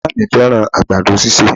Ìyá à mí fẹ́ràn àgbàdo sísè